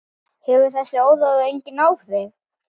Hefur þessi áróður engin áhrif?